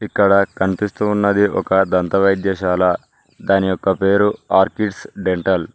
ఇక్కడ కనిపిస్తూ ఉన్నది ఒక దంత వైద్యశాల దాని యొక్క పేరు ఆర్కిడ్స్ డెంటల్